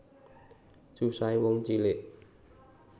Susahe wong cilik